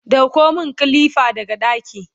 ɗauko min kilifa daga ɗaki!